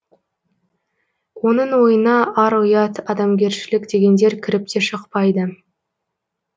оның ойына ар ұят адамгершілік дегендер кіріп те шықпайды